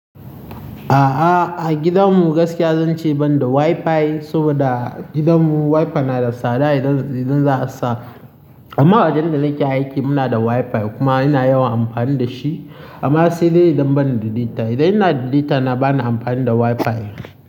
A'a, a gidanmu gaskiya zan ce ban da Wi-Fi, saboda gidanmu Wi-Fi na da tsada idan, idan za a sa. Amma a wajen da nake aiki muna da Wi-Fi kuma ina yawan amfani da shi. Amma sai dai idan ban da data. Idan ina da data na bana amfani da Wi-Fi.